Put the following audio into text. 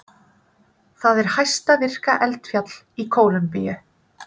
Það er hæsta virka eldfjall í Kólumbíu.